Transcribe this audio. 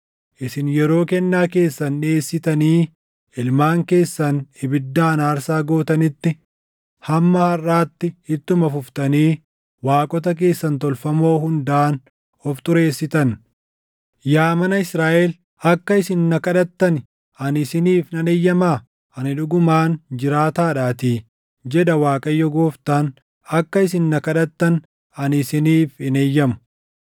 Isin yeroo kennaa keessan dhiʼeessitanii ilmaan keessan ibiddaan aarsaa gootanitti, hamma harʼaatti ittuma fuftanii waaqota keessan tolfamoo hundaan of xureessitan. Yaa mana Israaʼel, akka isin na kadhattani ani isiniif nan eeyyamaa? Ani dhugumaan jiraataadhaatii, jedha Waaqayyo Gooftaan; akka isin na kadhattan ani isiniif hin eeyyamu.